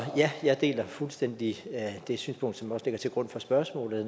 ja jeg deler fuldstændig det synspunkt som også ligger til grund for spørgsmålet